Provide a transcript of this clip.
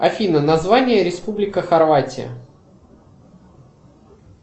афина название республика хорватия